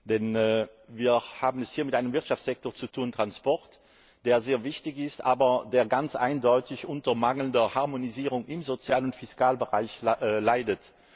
Denn wir haben es hier mit einem Wirtschaftssektor zu tun Verkehr der sehr wichtig ist, der aber ganz eindeutig unter mangelnder Harmonisierung im Sozial und Fiskalbereich leidet.